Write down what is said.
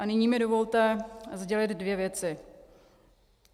A nyní mi dovolte sdělit dvě věci.